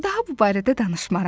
Daha bu barədə danışmaram.